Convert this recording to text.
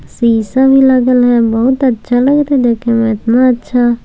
शीशा भी लगल है बहुत अच्छा लग रहल देखे में इतना अच्छा --